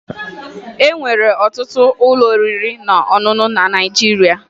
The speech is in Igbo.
E nwere ọtụtụ ụlọ oriri na ọṅụṅụ na Naịjirịa